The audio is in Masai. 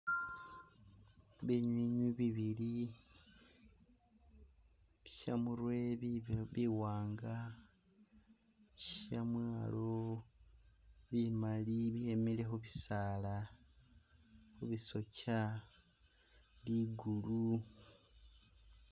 Binywinywi bibili shamurwe bibe biwanga shamwalo bimali byemile khu bisaala khu bi sokya bigulu